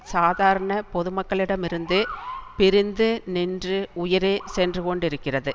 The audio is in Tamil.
சாதாரண பொது மக்களிடமிருந்து பிரிந்து நின்று உயரே சென்று கொண்டிருக்கிறது